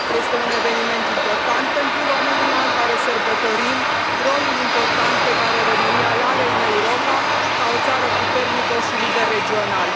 Este un eveniment important pentru România, în care sărbătorim rolul important pe care România îl are în Europa, ca o țară puternică și lider regional.